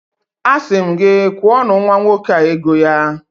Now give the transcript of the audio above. Asị m gị, kwụọnụ nwa nwoke a ego ya!